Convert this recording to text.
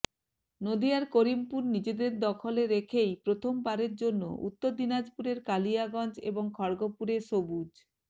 নদিয়ার করিমপুর নিজেদের দখলে রেখেই প্রথম বারের জন্য উত্তর দিনাজপুরের কালিয়াগঞ্জ এবং খড়্গপুরে সবুজ